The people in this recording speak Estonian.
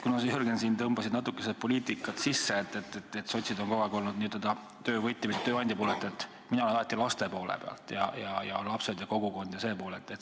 Kuna sa, Jürgen, tõmbasid natukese siia poliitikat sisse, et sotsid on kogu aeg olnud töövõtja, mitte tööandja poolel, siis mina ütlen, et mina olen alati laste poole peal, lapsed ja kogukond ja see pool.